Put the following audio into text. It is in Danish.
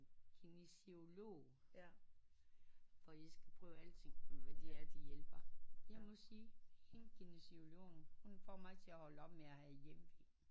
Kinesiolog for jeg skal prøve alting det kan være det hjælper jeg må sige hende kinesiologen hun får til at holde op med at have hjemve